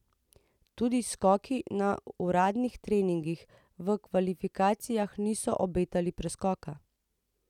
Tudi skoki na uradnih treningih v kvalifikacijah niso obetali preskoka.